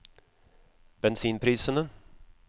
bensinprisene